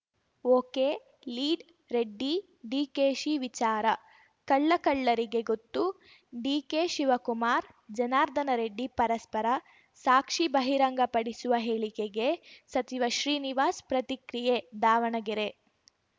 ಒಕೆಲೀಡ್‌ರೆಡ್ಡಿಡಿಕೆಶಿ ವಿಚಾರ ಕಳ್ಳ ಕಳ್ಳರಿಗೆ ಗೊತ್ತು ಡಿಕೆಶಿವಕುಮಾರ್‌ ಜನಾರ್ದನ ರೆಡ್ಡಿ ಪರಸ್ಪರ ಸಾಕ್ಷಿ ಬಹಿರಂಗಪಡಿಸುವ ಹೇಳಿಕೆಗೆ ಸಚಿವ ಶ್ರೀನಿವಾಸ್‌ ಪ್ರತಿಕ್ರಿಯೆ ದಾವಣಗೆರೆ